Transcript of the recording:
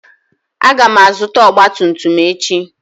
Aga m azụta ọgba tum tum echi.